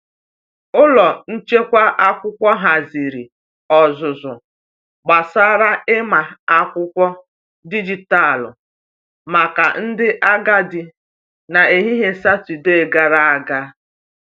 Ụlọ nchekwa akwụkwọ haziri ọzụzụ gbasara ịma akwụkwọ dijitalụ maka ndị agadi n’ehihie Satọdee gara aga.